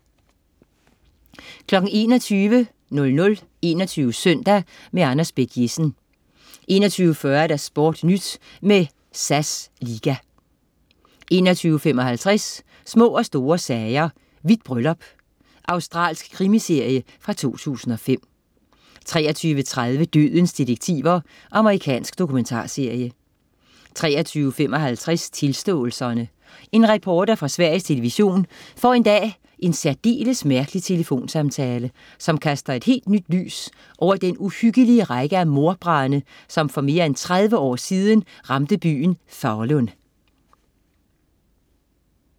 21.00 21 Søndag. Anders Bech-Jessen 21.40 SportNyt med SAS liga 21.55 Små og store sager: Hvidt bryllup. Australsk krimiserie fra 2005 23.30 Dødens detektiver. Amerikansk dokumentarserie 23.55 Tilståelserne. En reporter på Sveriges Television får en dag en særdeles mærkelig telefonsamtale, som kaster et helt nyt lys over den uhyggelige række af mordbrande, som for mere end 30 år siden ramte byen Falun